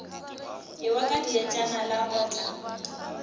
ewa ka dietšana la otla